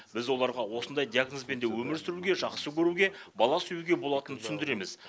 біз оларға осындай диагнозбен де өмір сүруге жақсы көруге бала сүюге болатынын түсіндіреміз